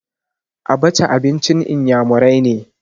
Abaca abincin iyamurai ne.